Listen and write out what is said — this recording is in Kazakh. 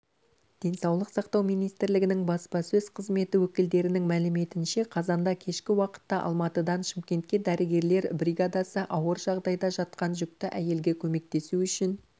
денсаулық сақтау министрлігінің баспасөз қызметі өкілдерінің мәліметінше қазанда кешкі уақытта алматыдан шымкентке дәрігерлер бригадасы ауыр жағдайда жатқан жүкті әйелге көмектесу үшін